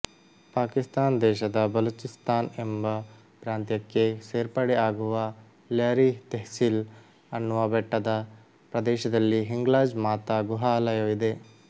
ಪಾಕಿಸ್ತಾನ್ ದೇಶದ ಬಲೂಚಿಸ್ಥಾನ್ ಎಂಬ ಪ್ರಾಂತ್ಯಕ್ಕೆ ಸೇರ್ಪಡೆ ಆಗುವ ಲ್ಯರಿ ತೆಹ್ಸಿಲ್ ಅನ್ನುವ ಬೆಟ್ಟದ ಪ್ರದೇಶದಲ್ಲಿ ಹಿಂಗ್ಲಾಜ್ ಮಾತ ಗುಹಾಲಯವಿದೆ